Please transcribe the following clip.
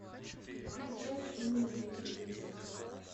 включай мир на телевизоре